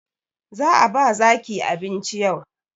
Za a ba zaki abinci yau